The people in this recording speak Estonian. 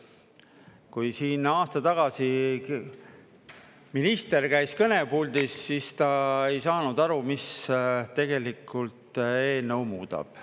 Kui siin aasta tagasi minister käis kõnepuldis, siis ta ei saanud aru, mis tegelikult eelnõu muudab.